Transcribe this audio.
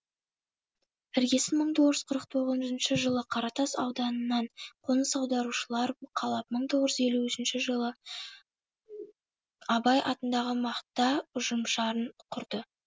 іргесін мың тоғыз жүз қырық тоғызыншы жылы қаратас ауданынан қоныс аударушылар қалап мың тоғыз жүз елуінші жылы абай атындағы мақта ұжымшарын құрды